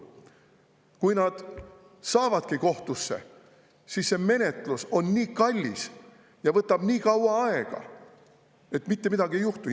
Kui nad jõuavadki kohtusse, siis on menetlus nii kallis ja võtab nii kaua aega, et mitte midagi ei juhtu.